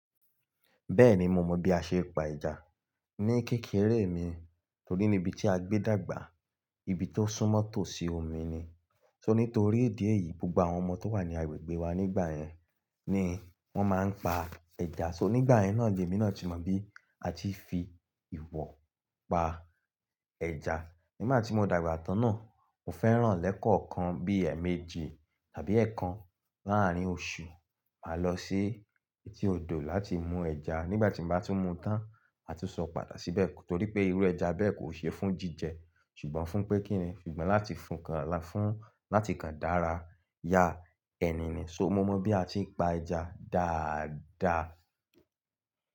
Bẹ́ẹ̀ni mo mọ bí a ṣe pa ẹja. Ni kékeré mi torí nibi tí a gbé dàgbà, ibi tó súnmọ́ tòsí omi ni. So nítorí ìdí èyí, gbogbo àwọn ọmọ tó wà ní agbègbè wa nígbà yẹn ni wọ́n máa ń pa ẹja. So nígbà yẹn náà, ni èmi náà ti mọ bí a ti fi ìwọ̀ pa ẹja. Nígbà tí mo dàgbà tán náà, mo fẹ́ràn lẹ́kọ̀ọ́ kan bí ẹ̀ẹ̀mejì tàbí ẹ̀ẹ̀kan láàárín oṣù, máa lọ sí etí odò láti mú ẹja. Nígbà tí mo bá tún mú tán, ma tún sọ padà síbẹ̀ torí pé irú ẹja bẹ́ẹ̀ kò ṣe fún jíjẹ. Ṣùgbọ́n fún pé kín ni? Sugbọ̀n láti fún kan, fún láti kan dára, ya ẹni ni. So mo mọ bí a ti pa ẹja dáadaa.